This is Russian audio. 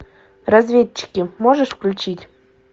разведчики можешь включить